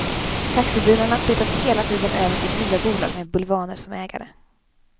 Taxibilarna flyttas hela tiden över till nya bolag med bulvaner som ägare.